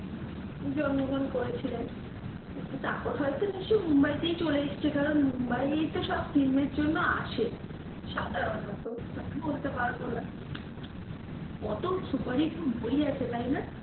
জন্মগ্রহণ করেছিলেন তারপর হয়তো নিশ্চই মুম্বাই তে চলে এসেছে কারণ মুম্বাই এই তো সব film এর জন্য আসে সাধারণত, বলতে পারবো না, কত superhit বই আছে তাই না?